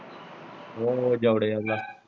ਜੋੜੇ ਵੱਲ ਦਾ।